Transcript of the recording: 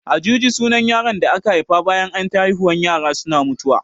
Ajuji sunan yaron da aka haifa bayan anyi ta haihuwan yara suna mutuwa